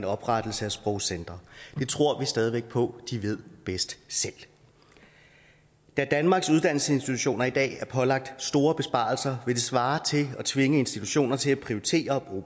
oprettelse af sprogcentre det tror vi stadig væk på at de ved bedst selv da danmarks uddannelsesinstitutioner i dag er pålagt store besparelser vil det svare til at tvinge institutioner til at prioritere